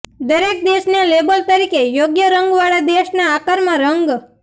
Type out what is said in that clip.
દરેક દેશને લેબલ તરીકે યોગ્ય રંગવાળા દેશના આકારમાં રંગ